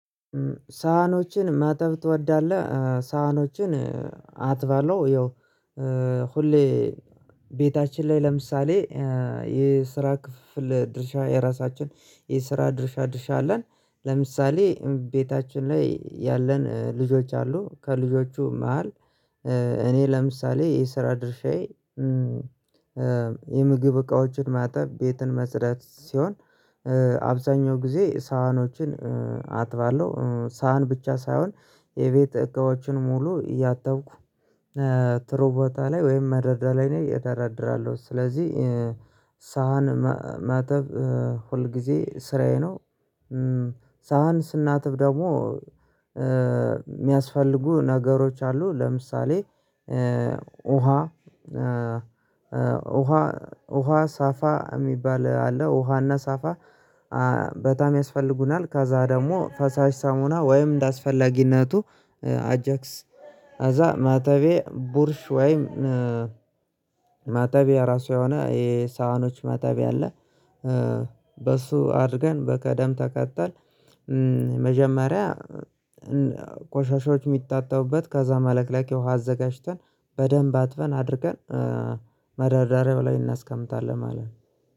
ሳህኖችን ማጠብ ትወዳለህ? ሳህኖችን አጥባለው። ያው ሁሌ ቤታችን ላይ ለምሳሌ የስራ ክፍፍል ድርሻ የራሳችን የስራ ድርሻ ድርሻ አለን። ለምሳሌ ቤታችን ላይ ያለን ልጆች አሉ ከልጆቹ መሃል። እኔ ለምሳሌ የስራ ድርሻዬ የምግብ እቃዎችን ማጠብ ቤትን ማጽዳት ሲሆን። አብዛኛው ጊዜ ሳህኖችን አጥባለሁ ሳህን ብቻ ሳይሆን የቤት እቃዎችን ሙሉ እያጠብኩ ጥሩ ቦታ ላይ ወይም መደርደሪያ ላይ እደረድራለሁ። ስለዚህ ሳህን ማጠብ ሁል ጊዜ ስራዬ ነው። ሳህን ስናጥብ ደግሞ የሚያስፈልጉ ነገሮች አሉ። ለምሳሌ ውሃ ውሃ ሳፋ የሚባል አለ ውሃና ሳፋ በጣም ያስፈልጉናል። ከዛ ደግሞ ፈሳሽ ሳሙና ወይም እንደአስፈላጊነቱ አጃክስ አዛ ማጠቢያ ቡርሽ ወይም ማጠቢያ ራሱ የሆነ የሳህኖች ማጠቢያ አለ። በሱ አድርገን በቅደም ተከተል መጀመሪያ ቆሻሻዎች የሚታጠቡበት ከዛ መለቅለቂያ አዘጋጅተን በደንብ አጥበን አድርቀን መደርደሪያው ላይ እናስቀምጣለን። ማለት ነው።